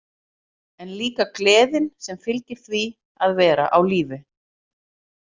En líka gleðin sem fylgir því að vera á lífi.